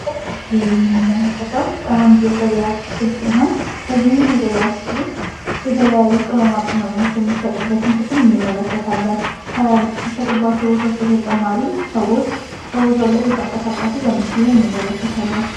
በምስሉ ላይ የምንመለከተው አንድ የገበያ ክፍል ሲሆን በዚህም የገበያ ክፍል ውስጥ የተለያዩ ቅመማቅመሞች የሚሸጡበትን ክፍል እንመለከታለን። ከሚሸጥባቸው ቦታዎች በተጨማሪም ሰዎች በቦታው ላይ እየተንቀሳቀሱ በምስሉ ላይ እንመለከታለን።